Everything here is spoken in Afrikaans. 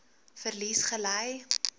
verlies gely